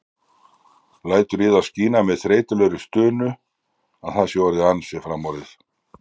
Lætur í það skína með þreytulegri stunu að það sé orðið ansi framorðið.